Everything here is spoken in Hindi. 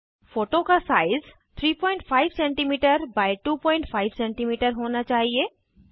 फोटो का साइज़ 35सीएम एक्स 25सीएम होना चाहिए